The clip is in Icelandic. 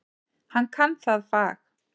Hann kann það fag.